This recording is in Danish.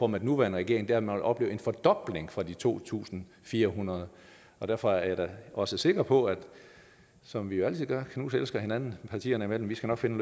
med den nuværende regering er at man vil opleve en fordobling fra de to tusind fire hundrede derfor er jeg da også sikker på at vi som vi altid gør knuselsker hinanden partierne imellem vi skal nok finde